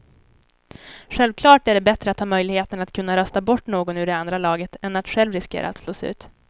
Självklart är det bättre att ha möjligheten att kunna rösta bort någon ur det andra laget än att själv riskera att slås ut.